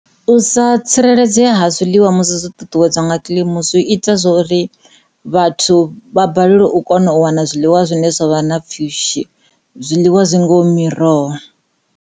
U sa tsireledzea ha zwiḽiwa musi zwo ṱuṱuwedziwa nga kilimi zwi ita zwori vhathu vha balelwe u kona u wana zwiḽiwa zwa re na pfhushi zwiḽiwa zwi ngaho miroho.